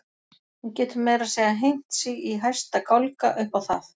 Hún getur meira að segja hengt sig í hæsta gálga upp á það.